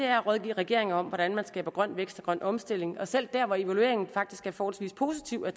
er at rådgive regeringer om hvordan man skaber grøn vækst og grøn omstilling og selv der hvor evalueringen af faktisk er forholdsvis positiv er